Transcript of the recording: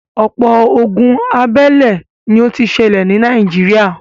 ọ̀pọ̀ ogun abélé ni ó ti sẹlẹ̀ ní Nàìjíríà.